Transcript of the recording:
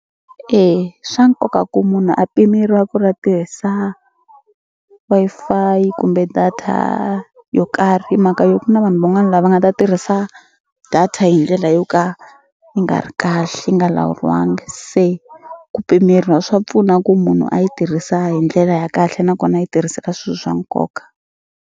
E swa nkoka ku munhu a pimeriwa ku ri a tirhisa Wi-Fi kumbe data yo karhi hi mhaka yo ku na vanhu van'wani lava nga ta tirhisa data hi ndlela yo ka yi nga ri kahle yi nga lawuriwangi se ku pimeriwa swa pfuna ku munhu a yi tirhisa hi ndlela ya kahle nakona a yi tirhisa ka swi swa nkoka.